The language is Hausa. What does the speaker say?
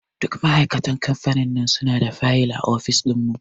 Duk ma'aikatan kamfanin nan suna da fayil a ofis ɗin mu.